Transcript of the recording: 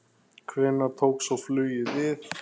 Hvenær tók svo flugið við?